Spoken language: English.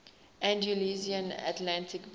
andalusian atlantic basin